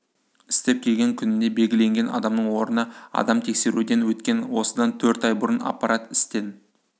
істеп келген күніне белгіленген адамның орнына адам тексеруден өткен осыдан төрт ай бұрын аппарат істен